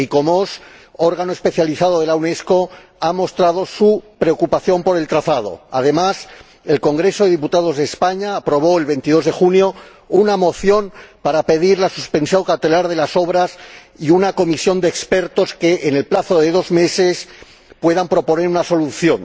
El Icomos, órgano especializado de la Unesco, ha mostrado su preocupación por el trazado. Además, el Congreso de los Diputados de España aprobó, el 22 de junio, una moción para pedir la suspensión cautelar de las obras y la creación de una comisión de expertos que, en el plazo de dos meses, pueda proponer una solución.